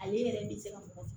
Ale yɛrɛ bɛ se ka mɔgɔ